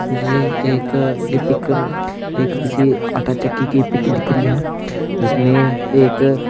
यह एक यह पिक एक किसी आटा चक्की की पिक दिख रही है जिसमें एक--